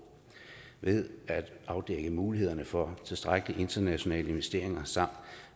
ved at afdække mulighederne for tilstrækkelige internationale investeringer samt